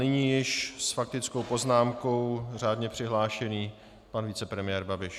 Nyní již s faktickou poznámkou řádně přihlášený pan vicepremiér Babiš.